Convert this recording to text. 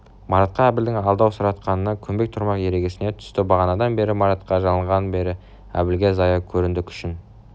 марат әбілдің алдаусыратқанына көнбек тұрмақ ерегісе түсті бағанадан бері маратқа жалынғанының бәрі әбілге зая көрінді күшін